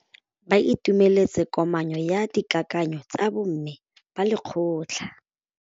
Ba itumeletse kôpanyo ya dikakanyô tsa bo mme ba lekgotla.